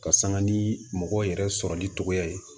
Ka sanga ni mɔgɔ yɛrɛ sɔrɔli cogoya ye